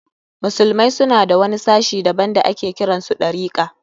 Musulmai suna da wani sashi daban da ake kiran su Ɗarika.